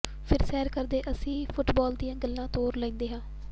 ਫਿਰ ਸੈਰ ਕਰਦੇ ਅਸੀਂ ਫੁੱਟਬਾਲ ਦੀਆਂ ਗੱਲਾਂ ਤੋਰ ਲੈਂਦੇ ਹਾਂ